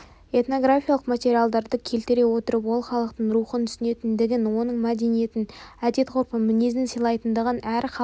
этнографиялық материалдарды келтіре отырып ол халықтың рухын түсінетіндігін оның мәдениетін әдет ғұрпын мінезін сыйлайтындығын әр халықтың